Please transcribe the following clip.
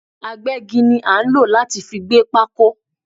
Agbẹ́gi ni a nlo láti fi gbé pákó